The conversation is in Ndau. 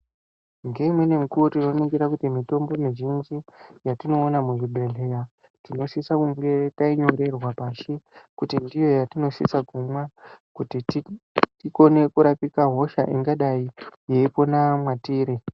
Ngeimweni mukuwo tinoningora kuti mitombo muzhinji yatinoona muzvibhedhleya tinosisa kunge tainyorerwa pashi kuti ndiyo yatinosisa kumwa kuti tikone kurapika hosha ingadai yeipona mwatiri.